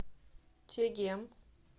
чегем